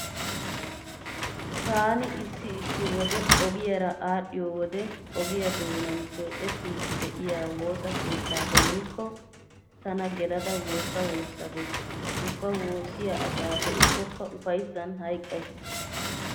Taani issi issi wode ogiyara aadhdhiyo wode ogiya doonan keexettidi de'iya woosa keettaa demmikko tana gelada woossa woossa gees. Ubba woossiya asaa be'kkokka ufayssan hayqqays.